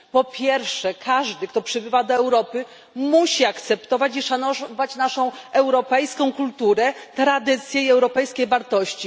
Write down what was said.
Po pierwsze każdy, kto przybywa do Europy, musi zaakceptować i szanować naszą europejską kulturę, tradycje i europejskie wartości.